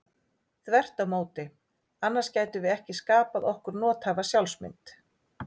Þvert á móti, annars gætum við ekki skapað okkur nothæfa sjálfsmynd.